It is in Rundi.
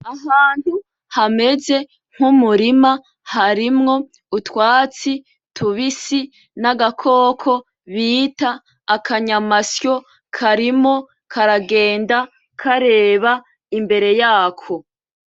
Ahantu hameze nkumurima , harimwo utwatsi tubisi , nagakoko bita akanyamasyo, karimo karagenda kareba imbere yako .